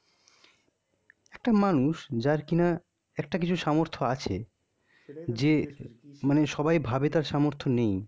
একটা মানুষ যার কিনা একটা কিছু সামর্থ্য আছে. যে সবাই ভাবে তার সামর্থ্য নেয়.